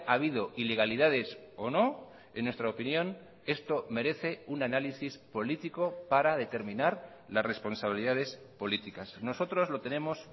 habido ilegalidades o no en nuestra opinión esto merece un análisis político para determinar las responsabilidades políticas nosotros lo tenemos